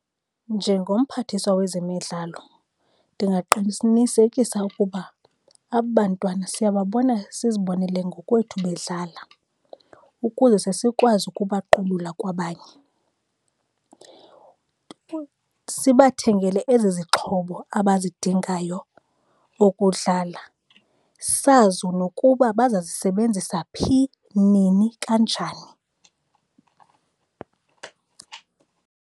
Njengomphathiswa wezemidlalo ndingaqinisekisa ukuba aba bantwana siyababona, sizibonele ngokwethu bedlala ukuze zesikwazi ukubaqubula kwabanye, sibathengele ezi zixhobo abazidingayo ukudlala, sazi nokuba bazazisebenzisa phi, nini, kanjani.